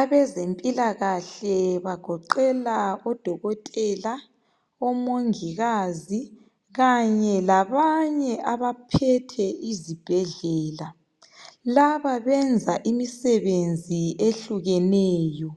Abezempilakahle bagoqela odokotela ,omongikazi kanye labanye abaphethe izibhedlela .Laba benza imisebenzi ehlukeneyo .